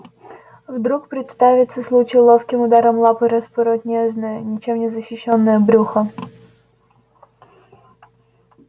вдруг представится случай ловким ударом лапы распороть нежное ничем не защищённое брюхо